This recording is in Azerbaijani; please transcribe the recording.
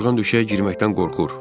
Yorğan döşəyə girməkdən qorxur.